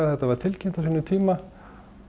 þetta var tilkynnt á sínum tíma